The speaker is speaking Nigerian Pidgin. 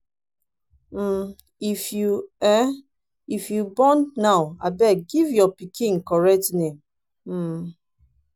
um if you um if you born now abeg give your pikin correct name. um